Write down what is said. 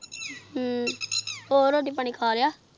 ਹਮਮ ਹੋਰ ਰੋਟੀ ਪਾਣੀ ਖਾ ਲਿਯਾ